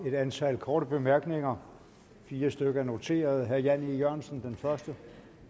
et antal korte bemærkninger fire stykker er noteret herre jan e jørgensen er den første